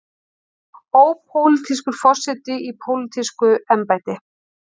Ópólitískur forseti í pólitísku embætti.